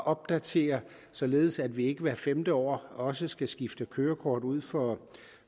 opdaterer således at vi ikke hvert femte år også skal skifte kørekort ud for